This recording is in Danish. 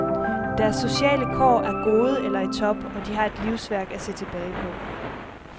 Deres sociale kår er gode eller i top, og de har et livsværk at se tilbage på.